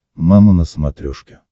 мама на смотрешке